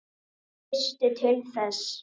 Veistu til þess?